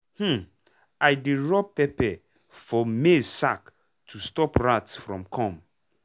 um i dey rub pepper for maize sack to stop rat from come.